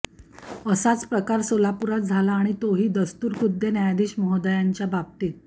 असाच प्रकार सोलापुरात झाला आणि तोही दस्तुरखुद्द न्यायाधीश महोद्यांच्याबाबतीत